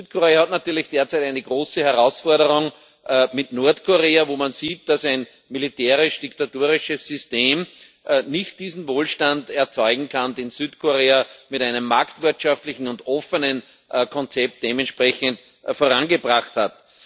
Südkorea hat natürlich derzeit eine große Herausforderung mit Nordkorea, wo man sieht, dass ein militärisch diktatorisches System nicht diesen Wohlstand erzeugen kann, den Südkorea mit einem marktwirtschaftlichen und offenen Konzept dementsprechend vorangebracht hat.